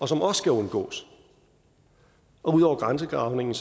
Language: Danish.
som også skal undgås og ud over grænsedragningen